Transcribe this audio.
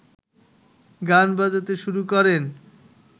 গান বাজাতে শুরু করেন